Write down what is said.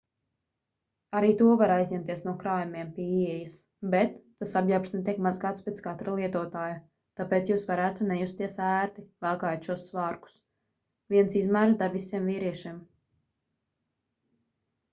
arī to var aizņemties no krājumiem pie ieejas bet tas apģērbs netiek mazgāts pēc katra lietotāja tāpēc jūs varētu nejusties ērti valkājot šos svārkus viens izmērs der visiem vīriešiem